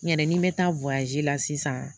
N yɛrɛ ni n bɛ taa la sisan